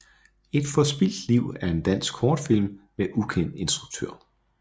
Et forspildt Liv er en dansk kortfilm med ukendt instruktør